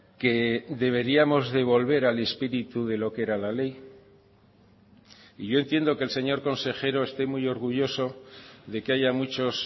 que deberíamos de volver al espíritu de lo que era la ley y yo entiendo que el señor consejero esté muy orgulloso de que haya muchos